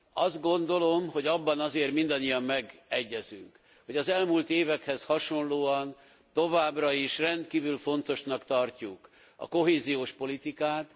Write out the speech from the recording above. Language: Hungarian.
Azt gondolom, hogy abban azért mindannyian megegyezünk, hogy az elmúlt évekhez hasonlóan továbbra is rendkívül fontosnak tartjuk a kohéziós politikát.